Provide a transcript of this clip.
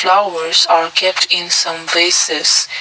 flowers are kept in some places.